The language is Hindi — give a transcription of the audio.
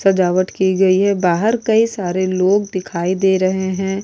सजावट की गई है बाहर कई सारे लोग दिखाई दे रहे हैं।